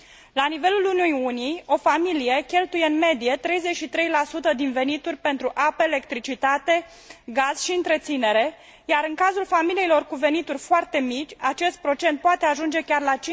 La nivelul Uniunii, o familie cheltuiește în medie 33 din venituri pentru apă, electricitate, gaze și întreținere, iar în cazul familiilor cu venituri foarte mici, acest procent poate ajunge chiar la